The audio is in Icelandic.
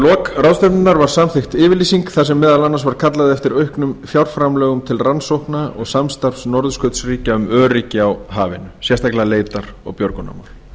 lok ráðstefnunnar var samþykkt yfirlýsing þar sem meðal annars var kallað eftir auknum fjárframlögum til rannsókna og samstarfs norðurskautsríkja um öryggi á hafinu sérstaklega leitar og björgunarmál